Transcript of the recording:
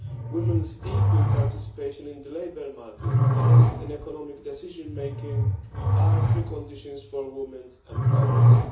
Women's equal participation in the labour market and in economic decision making are preconditions for women's empowerment.